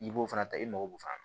I b'o fana ta i mago b'u fana na